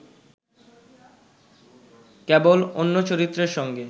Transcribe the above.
কেবল অন্য চরিত্রের সঙ্গে